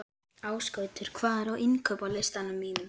Ásgautur, hvað er á innkaupalistanum mínum?